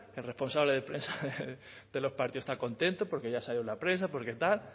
el responsable de prensa de los partidos está contento porque ya salió en la prensa porque tal